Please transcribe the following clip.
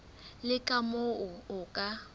le ka moo o ka